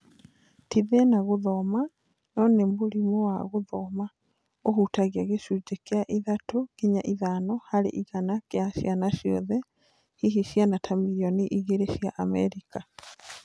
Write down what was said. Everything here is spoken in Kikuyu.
Ti thĩna wa gũthoma, no nĩ mũrimũ wa gũthoma; "ũhutagia gĩcunjĩ kĩa ithatũ [3 ] nginya ithano [5] harĩ igana kĩa ciana ciothe, hihi ciana ta mirioni igĩrĩ [2 ] cia Amerika".